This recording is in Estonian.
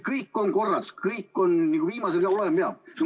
Kõik on korras, kõik on viimase peal, nii nagu olema peab.